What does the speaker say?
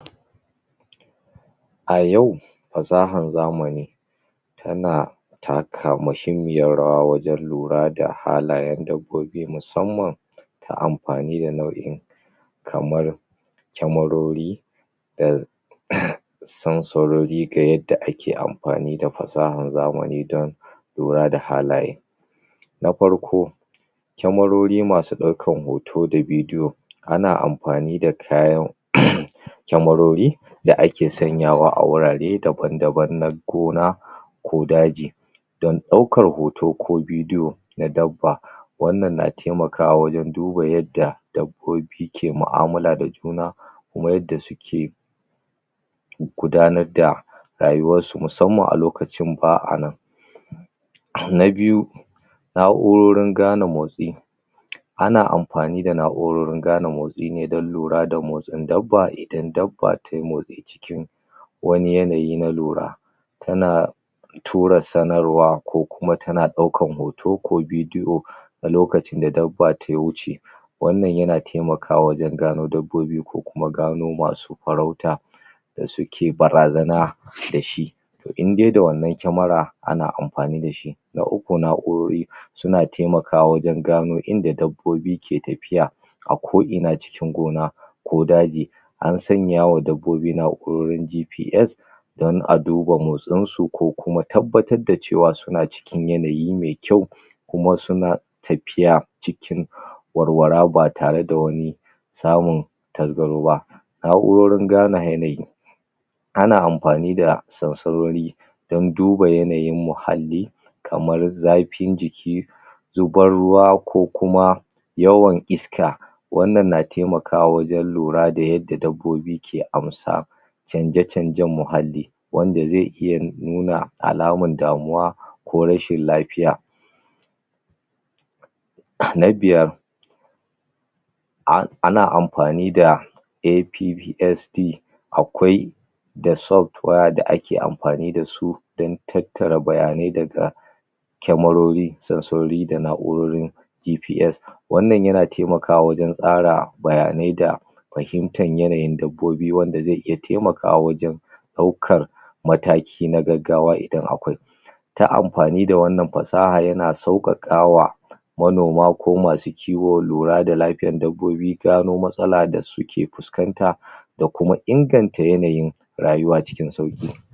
A yau fasahar zamani yana taka muhimmiyar rawa wajen lura da halayen dabbobi musamman a amfani da nau'in kamar cyamarori da sansarori da yadda ake amfani da fasahar zamani dan lura da halaye na farkp kyamarori masu daukan hoto da video ana amfani da kayan kyamarori da ake sanyawa a gurare daban daban na gona ko daji daukar hoto ko video na dabba wannan na taimakawa wajen duba yadda dabbobi ke mu'amalah da juna kuma yadda suke gudanar da rayuwarsu musamman a lokacinda ba anan na biyu na'urorin gane motsi ana amfani da na'urorin gane motsi nedan lura da motsin dabba idan dabba tai motsi wani yanayi na lura yana tura sanarwa ko kuma tana daukan hoto ko video a lokacin da dabba ta wuce wannan yana taimakawa wajen gano dabbobi ko kuma gano masu farauta da suke barazana dashi indai da wannan kyamara ana amfani dashi na uku na'urori suna taimakawa wajen gano inda dabbobi ke tafiya a ko'ina cikin gona ko daji an sanya wa dabbobi na'urorin GPS dan a duba motinsu ko kuma tabbatar da cewa suna cikin yanayi me kyau kuma suna tafiya cikin walwala ba tare da wani samun tasgaro ba na'urorin gane yanayi ana amfani da sansarori dan duba yanayin mahalli kamr zafin jiki zubar ruwa ko kuma yawan iska wannan na taimakawa wajen kura da yadda dabbobi ke amsa canje-canjen mahalli wanda zai iya nuna alamar damuwa ko rashin lafiya na biyar ana amfani da APPSD akwai da software da ake amfani dasu dan tattare bayanai daga kyamariri, sansarori, da na'urorin GPS Wannan yana taimakawa wajen tsara bayanai da fahitar yanayin dabbobi wanda zai iya taimakawa wajen daukar mataki na gaggawa idan akwai ta amfani da wanann fasaha yana saukakawa manoma ko masu kiwo lura da dabbobi, gano matsalar da suke fuskanta, da kuma inganta yanayin rayuwa cikin sauki